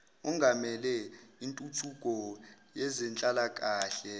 ongamele intuthuko yezenhlalakahle